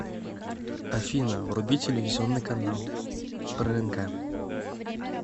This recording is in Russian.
афина вруби телевизионный канал прнк